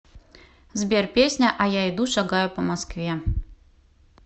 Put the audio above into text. сбер песня а я иду шагаю по москве